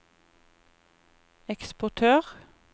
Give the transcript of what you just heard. eksportør